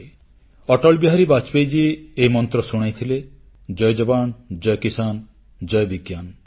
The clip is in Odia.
ଆମର ପ୍ରିୟ ଅଟଳବିହାରୀ ବାଜପେୟୀ ମହୋଦୟ ଏହି ମନ୍ତ୍ର ଶୁଣାଇଥିଲେ ଜୟ ଯବାନ୍ ଜୟ କିଷାନ୍ ଜୟ ବିଜ୍ଞାନ